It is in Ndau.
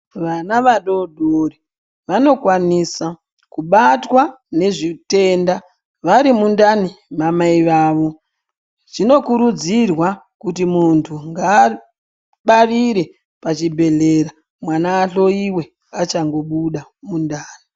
Vana vadodori vanokwanisa kubatwa ngezvitenda vari mundani mamai vavo. Zvinokurudzirwa kuti muntu ngabarire pachibhedhleya mwana ahloiwe achangobuda mundani.